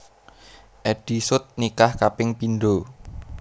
Eddy Sud nikah kaping pindho